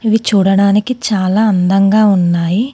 ఇవి చూడడానికి చాలా అందంగా ఉన్నాయి.